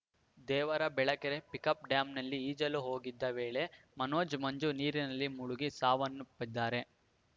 ದೇವರ ಬೆಳಕೆರೆ ಪಿಕ್‌ಅಪ್‌ ಡ್ಯಾಂನಲ್ಲಿ ಈಜಲು ಹೋಗಿದ್ದ ವೇಳೆ ಮನೋಜ್‌ ಮಂಜು ನೀರಿನಲ್ಲಿ ಮುಳುಗಿ ಸಾವನ್ನಪ್ಪಿದ್ದಾರೆ